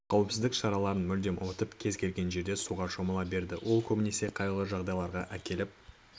қауіпсіздік шараларын мүлдем ұмытып кез келген жерде суға шомыла береді ол көбінесе қайғылы жағдайларға әкеліп